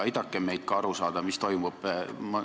Aidake meid ka aru saada, mis toimub.